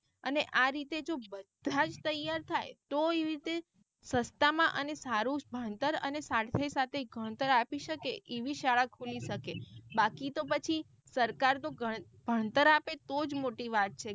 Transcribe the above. અને આ રીતે જો બધા જ તૈયાર થાય તો સસ્તા માં અને સારું ભણતર અને સાથે સાથે ગણતર આપી શકે એવી શાળા ખોલી શકે બાકી તો પછી સરકાર તો ભણતર આપે તો જ મોટી વાત છે.